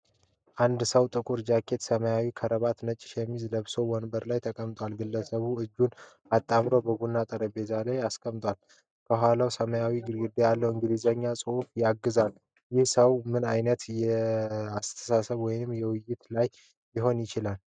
አንድ ሰው ጥቁር ጃኬት፣ ሰማያዊ ክራባትና ነጭ ሸሚዝ ለብሶ ወንበር ላይ ተቀምጧል። ግለሰቡ እጆቹን አጣምሮ በቡናማ ጠረጴዛ ላይ አስቀምጧል። ከኋላው ሰማያዊ ግድግዳ ላይ የእንግሊዝኛ ጽሑፍ ተዘርግቷል። ይህ ሰው ምን ዓይነት ስብሰባ ወይም ውይይት ላይ ሊሆን ይችላል?